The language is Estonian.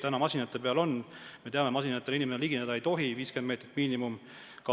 Praegu masinate peal see on, aga me teame, et masinatele ei tohi inimene ligineda, 50 meetrit on miinimum.